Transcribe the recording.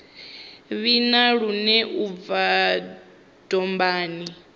vhina lune u bva dombani